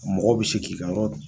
Mɔgɔw be se k'i ka yɔrɔ